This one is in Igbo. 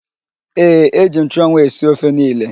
Ee, eji m nchụanwụ esi ofe niile.